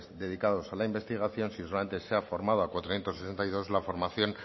dedicados a la investigación si solamente se ha formado a cuatrocientos sesenta y dos la formación